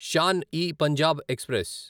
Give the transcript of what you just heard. Shan e Punjab express